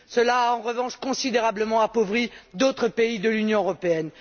Cela a en revanche considérablement appauvri d'autres pays de l'Union européenne.